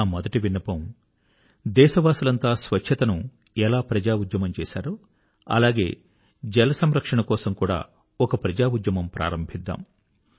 నా మొదటి విన్నపం దేశవాసులంతా స్వచ్ఛతను ఎలా ప్రజాఉద్యమం చేశారో అలాగే జలసంరక్షణ కొరకు కూడా ఒక ప్రజా ఉద్యమం ప్రారంభిద్దాం